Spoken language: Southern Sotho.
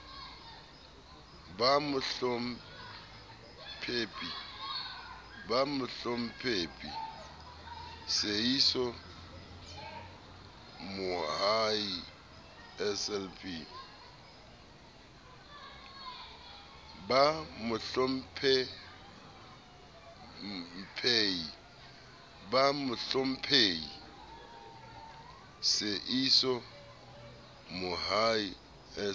ba mohlomphehi seeiso mohai slp